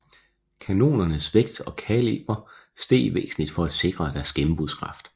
Kanonernes vægt og kaliber steg væsentligt for at sikre deres gennembrudskraft